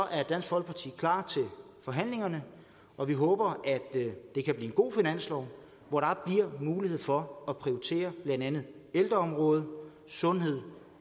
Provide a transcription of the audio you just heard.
er dansk folkeparti klar til forhandlingerne og vi håber at det kan blive en god finanslov hvor der bliver mulighed for at prioritere blandt andet ældreområdet sundhed